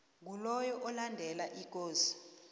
ngiloyo olandela ikosi